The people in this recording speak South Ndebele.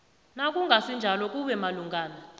nakungasinjalo kube malungana